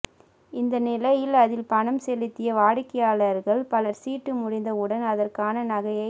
இந்த நிலையில் அதில் பணம் செலுத்திய வாடிக்கையாளா்கள் பலா் சீட்டு முடிந்த உடன் அதற்கான நகையை